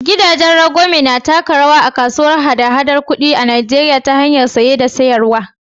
Gidajen rangwame na taka rawa a kasuwar hada-haɗar kuɗi ta Najeriya ta hanyar saye da sayarwa.